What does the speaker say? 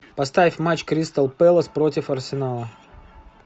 поставь матч кристал пэлас против арсенала